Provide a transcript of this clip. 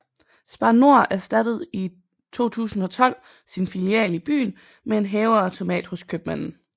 Spar Nord erstattede i 2012 sin filial i byen med en hæveautomat hos købmanden